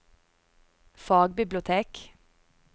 fagbibliotek